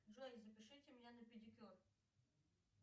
джой запишите меня на педикюр